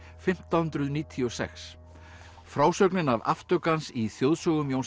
fimmtán hundruð níutíu og sex frásögnin af aftöku hans í þjóðsögum Jóns